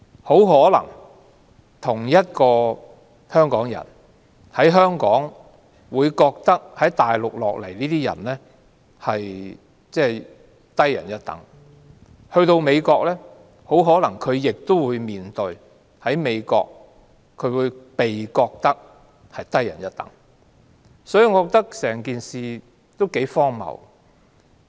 大家同是香港人，但從內地來港的人總被視為低人一等，他們到了美國，也很可能會被視為低人一等，所以整件事也頗荒謬。